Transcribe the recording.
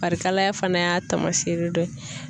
Farikalaya fana y'a taamasere dɔ ye.